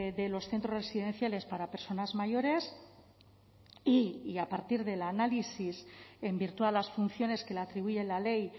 de los centros residenciales para personas mayores y a partir del análisis en virtud de las funciones que le atribuye la ley